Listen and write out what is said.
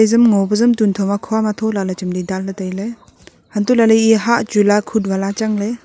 ama ngo pe jam tuntho ma khua athula chemli dan le taile hanto lahle eya hah chu lakhut wala achang le.